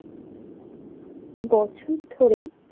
বছর ধরে।